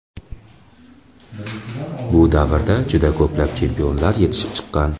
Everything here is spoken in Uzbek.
Bu davrda juda ko‘plab chempionlar yetishib chiqqan.